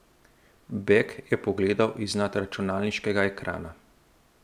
Beg je pogledal iznad računalniškega ekrana.